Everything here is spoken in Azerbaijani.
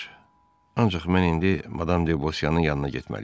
Ancaq mən indi madam De Bauseanın yanına getməliyəm.